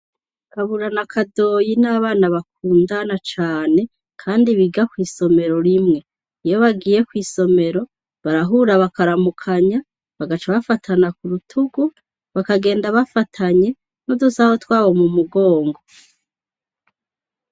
Kabura na Kadoyi n'abana bakundana cane kandi biga kw'isomero rimwe, iyo bagiye kw'isomero barahura bakaramukanya bagaca bafatana kurutugu bakagenda bafanye n'udusaho twabo mu mugongo.